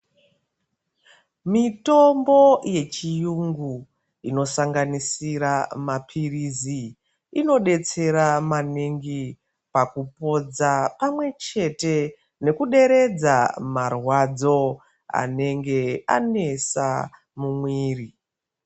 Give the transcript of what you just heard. Mitombo yechiyungu inosanganisira maphirizi, inopodza pamwe chete nekuderedza marwadzo anenge anesa mumwiri.